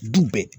Du bɛɛ